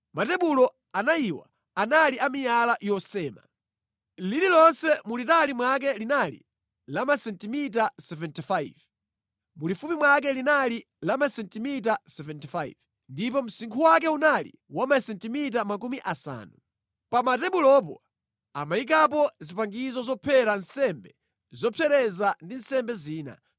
Matebulo anayiwa anali a miyala yosema. Lililonse mulitali mwake linali la masentimita 75, mulifupi mwake linali la masentimita 75, ndipo msinkhu wake unali wa masentimita makumi asanu. Pa matebulopo amayikapo zipangizo zophera nsembe zopsereza ndi nsembe zina.